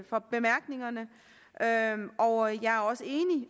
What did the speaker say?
for bemærkningerne og jeg